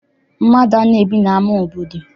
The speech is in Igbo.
Mmadụ anaghị ebi n'ama obodo.